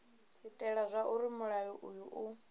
itela zwauri mulayo uyu u